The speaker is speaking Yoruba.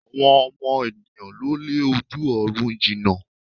Àwọn ọmọ ènìyãn ló lé ojú ọ̀run jina